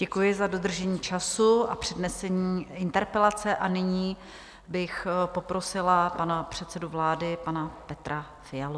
Děkuji za dodržení času a přednesení interpelace a nyní bych poprosila pana předsedu vlády, pana Petra Fialu.